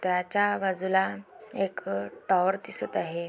त्याच्या बाजूला एक अ टॉवर दिसत आहे.